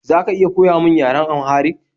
Za ka iya koya min yaren Amharik?